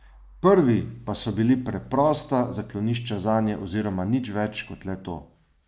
Prvi pa so bili preprosta zaklonišča zanje oziroma nič več kot le to.